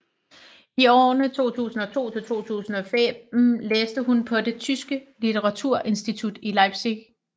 I årene 2002 til 2005 læste hun på det tyske litteraturinstitut i Leipzig